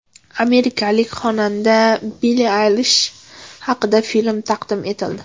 Amerikalik xonanda Billi Aylish haqida film taqdim etildi.